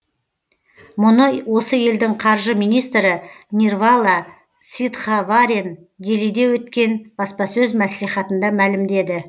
мұны осы елдің қаржы министрі нирвала ситхаваран делиде өткен баспасөз маслихатында мәлімдеді